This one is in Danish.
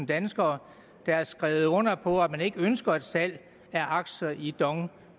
danskere der har skrevet under på at man ikke ønsker et salg af aktier i dong